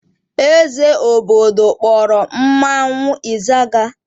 Eze obodo kpọrọ mmanwụ ịzaga.